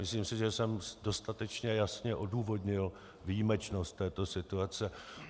Myslím si, že jsem dostatečně jasně odůvodnil výjimečnost této situace.